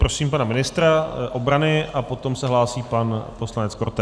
Prosím pana ministra obrany a potom se hlásí pan poslanec Korte.